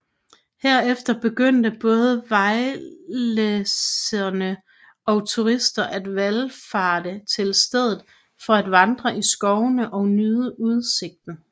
Herefter begyndte både vejlensere og turister at valfarte til stedet for at vandre i skovene og nyde udsigten